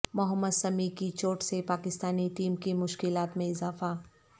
محمد سمیع کی چوٹ سے پاکستانی ٹیم کی مشکلات میں اضافہ